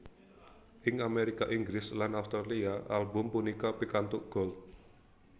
Ing Amérika Inggris lan Australia album punika pikantuk Gold